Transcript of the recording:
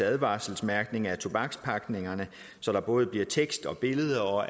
advarselsmærkning af tobakspakningerne så der både bliver tekst og billeder og